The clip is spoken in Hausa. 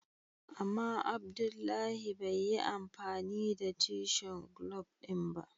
Ama Abdullahi bai yi amfani da tishen glub din ba.